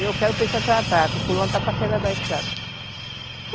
E eu quero peixe para tratar, que fulano está para chegar da estrada.